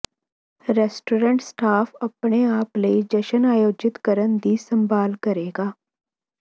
restaurant staff ਆਪਣੇ ਆਪ ਲਈ ਜਸ਼ਨ ਆਯੋਜਿਤ ਕਰਨ ਦੀ ਸੰਭਾਲ ਕਰੇਗਾ